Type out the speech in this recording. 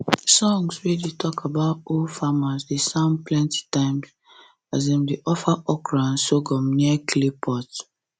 songs wey talk about old farmers dey sound plenty times as dem dey offer okra and sorghum near clay pot